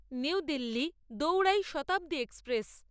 new Delhi দৌড়াই Shatabdi express